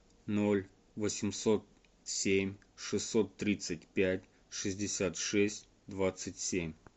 ноль восемьсот семь шестьсот тридцать пять шестьдесят шесть двадцать семь